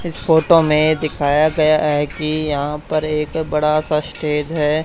इस फोटो में दिखाया गया है कि यहां पर एक बड़ा सा स्टेज है।